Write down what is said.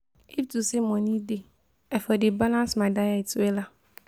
If to say money dey, I for dey balance my diet wella